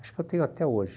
Acho que eu tenho até hoje.